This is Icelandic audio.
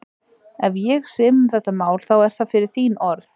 Ef ég sem um þetta mál, þá er það fyrir þín orð.